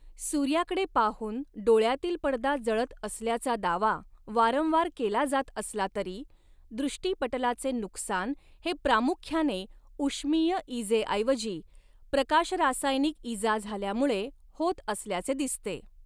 सूर्याकडे पाहून डोळयातील पडदा जळत असल्याचा दावा वारंवार केला जात असला तरी, दृष्टीपटलाचे नुकसान हे प्रामुख्याने ऊष्मीय इजेऐवजी प्रकाशरासायनिक इजा झाल्यामुळे होत असल्याचे दिसते.